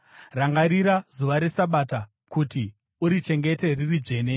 Rangarira zuva reSabata kuti urichengete riri dzvene.